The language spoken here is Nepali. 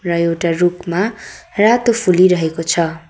र एउटा रुखमा रातो फुलिरहेको छ।